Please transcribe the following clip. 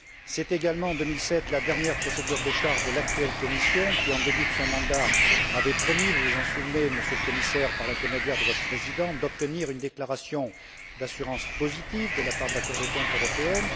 C'est également en 2007 la dernière procédure de décharge de l'actuelle Commission, qui, au début de son mandat, avait promis vous vous en souvenez, Monsieur le Commissaire, par l'intermédiaire de votre président d'obtenir une déclaration d'assurance positive de la part de la Cour des comptes européenne.